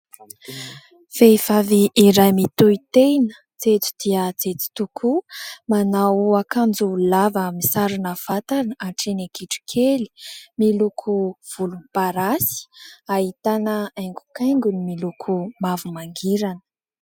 Vehivavy iray mitohy tena jejo dia jejo tokoa. Manao akanjo lava misarona vatana hatreny an-kitrokely miloko volomparasy, ahitana haingokaingony miloko mavo mangirana.